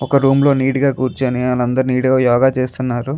Room లో neat గా కూర్చుని వాళ్ళు అందరు నీట్ గా యోగ చేస్తున్నారు.